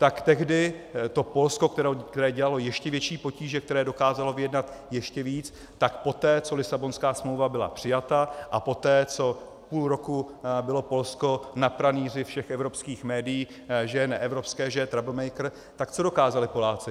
Tak tehdy to Polsko, které dělalo ještě větší potíže, které dokázalo vyjednat ještě víc, tak poté, co Lisabonská smlouva byla přijata, a poté, co půl roku bylo Polsko na pranýři všech evropských médií, že je neevropské, že je troublemaker, tak co dokázali Poláci?